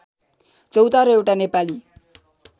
चौतारो एउटा नेपाली